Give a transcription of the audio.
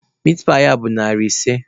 Mitpaị a bụ narị ise.